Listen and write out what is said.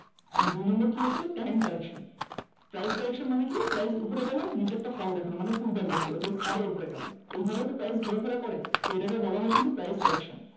and দুই নম্বর হচ্ছে price correction price correction মানে কি price উপরে গেলেও নিচে একটা fall দেখালো মানে pull back দেখালো then আবার উপরে গেল এইভাবে তো price ঘোরাফেরা করে তো এটাকে বলা হয় কিন্তু price correction